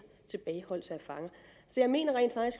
tilbageholdelse af fanger så jeg mener